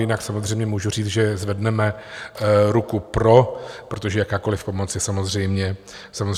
Jinak samozřejmě můžu říct, že zvedneme ruku pro, protože jakákoliv pomoc je samozřejmě důležitá.